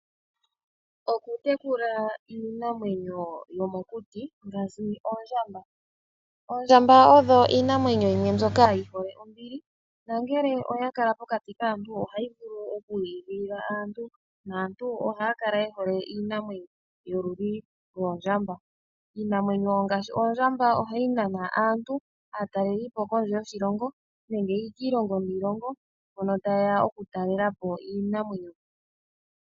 Okutekula iinamwenyo yomokuti ngaashi oondjamba ,oondjamba odho iinamwenyo yimwe mbyoka ya Nika oshiponga nongele oya kala pokati kaantu otayi eta omaipumomumwe naakw shigwana oyili woo hay nana aataleli po.